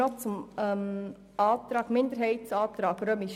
Zum Minderheitsantrag III